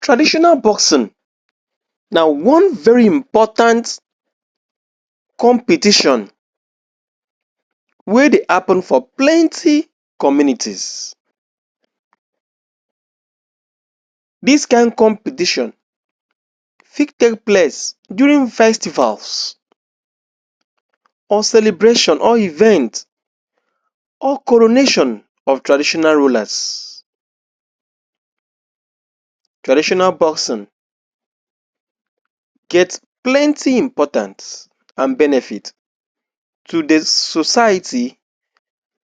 Traditional boxing na one very important competition wey dey happun for plenty communities. Dis kain competition fit take place during festivals or celebration or events or coronation of traditional rulers. traditional boxing, get plenty importance and benefits to di society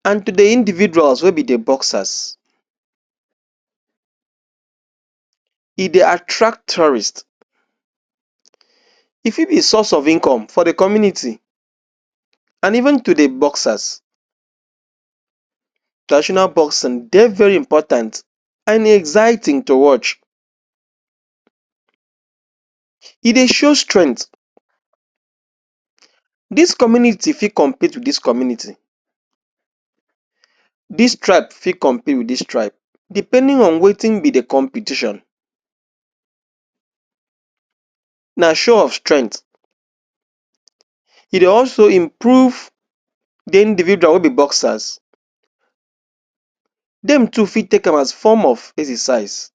and to di individuals wey be di boxers E dey attract tourist e fit be source of income for di community and even to di boxers. Traditional boxing dey very important and exciting to watch E dey show strength dis community fit compete dis community dis tribe fit compete wit dis tribe depending on wetin be di competion na show of strength e dey also improve di individuals wey be boxers dem too fit take am as form of exercise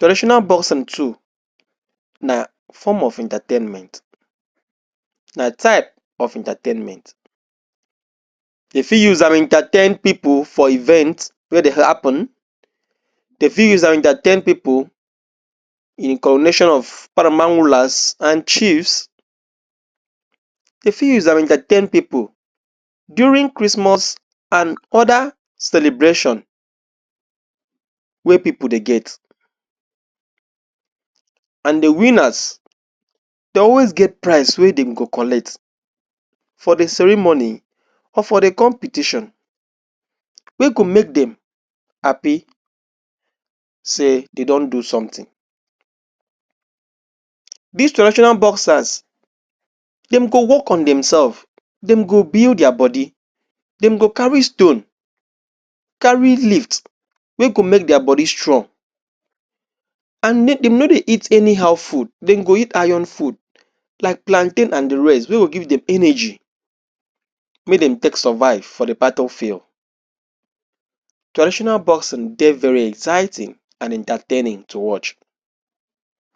Traditional boxing too na form of entatainment na type of entatainment dem fit use am entatain pipo for event wey dey happun dem fit use am entatain pipo in coronation of paramount rulers and chiefs. Dem fit use am entatain pipo during christmas and oda celebration wey pipo dey get and di winners dey always get prize wey dem go collect for di cerimony or for di competition wey go make dem happy say dem don do sometin. Dis traditional boxers dem go wok on dem sefs dem go build dia body dem go carry stone, carry lift, wey go make dia body strong and dem no dey eat anyhow food dem go eat iron food like plantain and di rest wey go give dem energy make dem take survive for di battle field. Traditional boxing dey very exciting and entataining to watch.